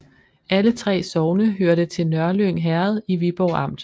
Alle 3 sogne hørte til Nørlyng Herred i Viborg Amt